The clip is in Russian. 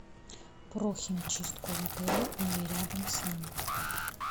про химчистку в отеле или рядом с ним